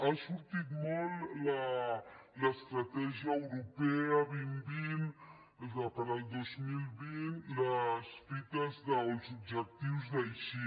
ha sortit molt l’estratègia europea dos mil vint per al dos mil vint les fites o els objectius d’aichi